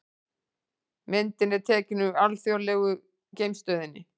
Myndin er tekin úr Alþjóðlegu geimstöðinni.